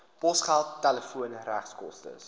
posgeld telefoon regskoste